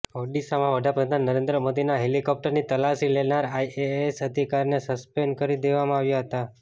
ઓડિશામાં વડાપ્રધાન નરેન્દ્ર મોદીના હેલિકોપ્ટરની તલાશી લેનાર આઇએએસ અધિકારીને સસ્પેન્ડ કરી દેવામાં આવ્યા હતા